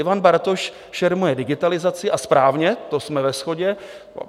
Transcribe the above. Ivan Bartoš šermuje digitalizací a správně - to jsme ve shodě.